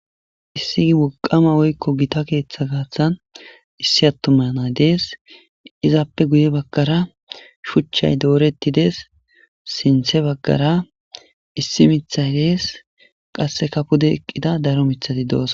issigi woqama woykko gita keeththa gaaththan issi attumanay dees izaappe guye baggara shuchchay doorettidees sinthe baggara issi mithay dees qasse kapude eqqida daro mithati doos